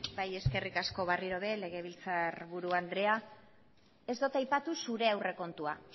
bai eskerrik asko berriro ere legebiltzar buru andrea ez dut aipatu zure aurrekontua